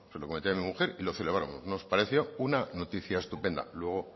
lo comenté a mi mujer y la celebramos nos pareció una noticia estupenda luego